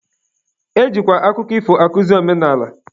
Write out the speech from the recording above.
E jikwa akụkọ ifo akuzi omenala.